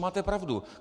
Máte pravdu.